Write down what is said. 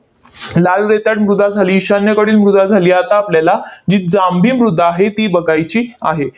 लाल रेताड मृदा झाली, ईशान्येकडील मृदा झाली. आता आपल्याला जी जांभी मृदा आहे, ती बघायची आहे.